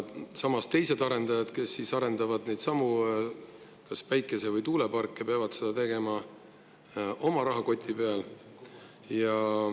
Samas, teised arendajad, kes arendavad neidsamu päikese- või tuuleparke, peavad seda tegema oma rahakoti peal.